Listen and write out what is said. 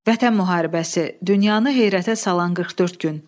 Vətən müharibəsi, dünyanı heyrətə salan 44 gün.